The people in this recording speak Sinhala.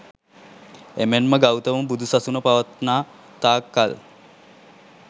එමෙන්ම ගෞතම බුදු සසුන පවත්නා තාක් කල්